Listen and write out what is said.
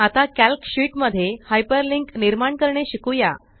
आता calc sheet मध्ये hyperlink निर्माण करणे शिकुया